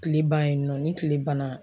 Kile ban yennɔ ni tile banna.